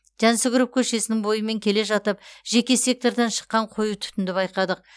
жансүгіров көшесінің бойымен келе жатып жеке сектордан шыққан қою түтінді байқадық